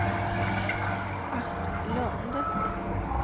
Asplund